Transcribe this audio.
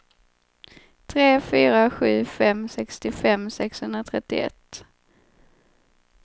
tre fyra sju fem sextiofem sexhundratrettioett